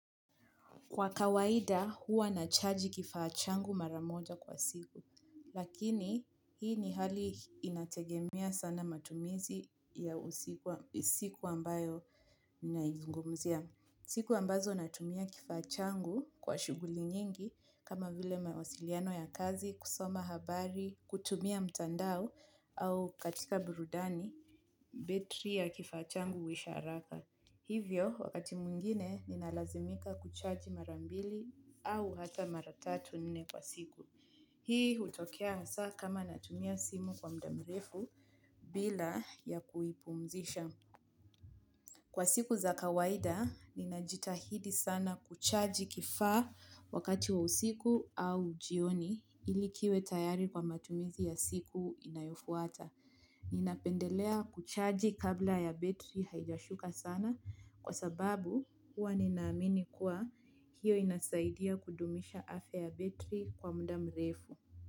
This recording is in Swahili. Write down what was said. Kwa kawaida huwa nachaji kifaa changu maramoja kwa siku, lakini hii ni hali inategemia sana matumizi ya usiku ambayo ninaizungumzia. Siku ambazo natumia kifaa changu kwa shuguli nyingi kama vile mawasiliano ya kazi, kusoma habari, kutumia mtandao au katika burudani, betri ya kifachangu usharaka. Hivyo, wakati mwingine, ninalazimika kuchaji marambili au hata maratatu nne kwa siku. Hii utokea saa kama natumia simu kwa muda mrefu bila ya kuipumzisha. Kwa siku za kawaida, ninajitahidi sana kuchaji kifaa wakati wa usiku au ujioni ilikiwe tayari kwa matumizi ya siku inayofuata. Ninapendelea kuchaji kabla ya betri haijashuka sana kwa sababu huwa ninaamini kuwa hiyo inasaidia kudumisha afya ya betri kwa mda mrefu.